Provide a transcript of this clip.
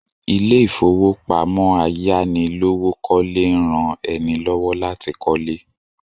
Ilé ìfowópamọ́ ayánilówókọ́lé ń rán ẹni lọ́wọ́ láti kọ́lé